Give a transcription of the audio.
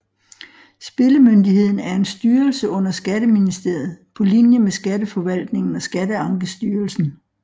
Spillemyndigheden er en styrelse under Skatteministeriet på linje med Skatteforvaltningen og Skatteankestyrelsen